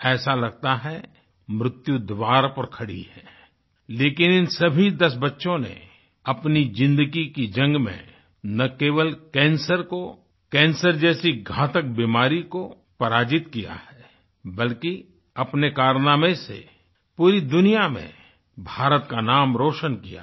ऐसा लगता है मृत्यु द्वार पर खड़ी है लेकिन इन सभी दस बच्चों ने अपनी ज़िंदगी की जंग में ना केवल कैंसर को कैंसर जैसी घातक बीमारी को पराजित किया है बल्कि अपने कारनामे से पूरी दुनिया में भारत का नाम रोशन किया है